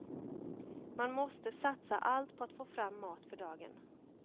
Man måste satsa allt på att få fram mat för dagen.